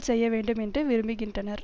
செய்ய வேண்டும் என்று விரும்புகின்றனர்